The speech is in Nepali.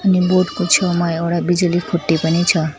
अनि बोर्ड को छेउमा एउडा बिजुली खुट्टी पनि छ।